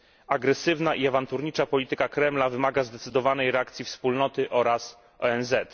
Agresywna i awanturnicza polityka Kremla wymaga zdecydowanej reakcji Unii oraz ONZ.